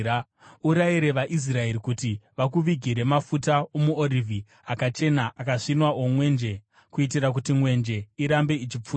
“Urayire vaIsraeri kuti vakuvigire mafuta omuorivhi akachena, akasvinwa omwenje, kuitira kuti mwenje irambe ichipfuta.